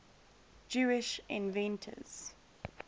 jewish inventors